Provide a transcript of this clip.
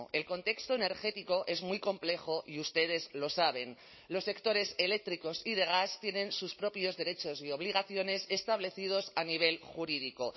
el contexto energético es muy complejo y ustedes lo saben los sectores eléctricos y de gas tienen sus propios derechos y obligaciones establecidos a nivel jurídico